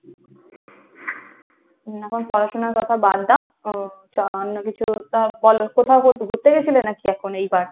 হম এখন পড়াশোনার কথা বাদ দাও, উম চ~ অন্য কিছু তো বলো, কোথাও কো~ ঘুরতে গেছিলে নাকি এখন এইবার?